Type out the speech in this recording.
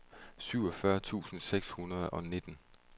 syvogfyrre tusind seks hundrede og nitten